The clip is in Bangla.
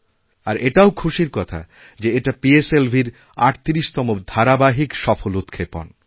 আর এটাও খুশির কথা যে এটা পিএসএলভির ৩৮তম ধারাবাহিকসফল উৎক্ষেপণ